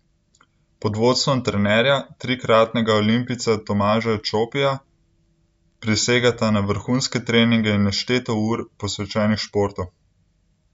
Pod vodstvom trenerja, trikratnega olimpijca Tomaža Čopija, prisegata na vrhunske treninge in nešteto ur, posvečenih športu.